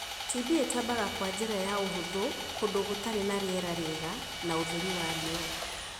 TB itambaga kwa njira ya ũhũthũ kũndu gũtarĩ na rĩera rĩega na ũtheri wa riua.